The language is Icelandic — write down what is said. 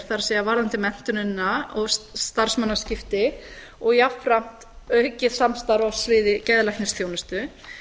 það er varðandi menntunina og starfsmannaskipta og jafnframt aukið samstarf á sviði geðlæknisþjónustu